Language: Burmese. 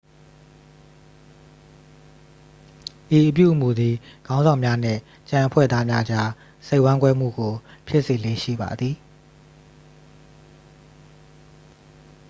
ဤအပြုအမူသည် ခေါင်းဆောင်များနှင့် ကျန်အဖွဲ့သားများကြား စိတ်ဝမ်းကွဲမှုကို ဖြစ်စေလေ့ရှိပါသည်